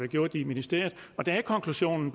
gjort i ministeriet konklusionen